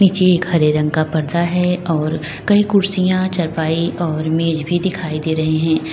ये एक हरे रंग का पर्दा है और कई कुर्सियां चारपाई और मेज भी दिखाई दे रहे हैं।